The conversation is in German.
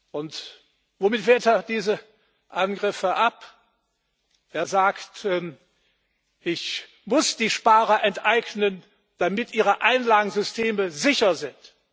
Und womit wehrt er diese Angriffe ab? Er sagt Ich muss die Sparer enteignen, damit ihre Einlagensysteme sicher sind.